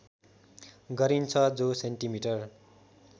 गरिन्छ जो सेन्टिमिटर